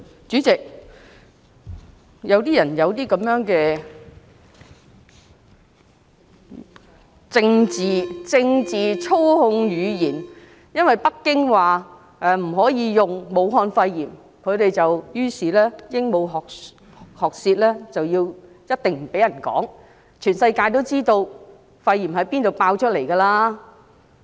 主席，有些人喜歡用政治操控語言，因為北京說不可以用"武漢肺炎"這個名稱，他們於是鸚鵡學舌，一定不讓人說，全世界也知道肺炎從哪裏爆發的。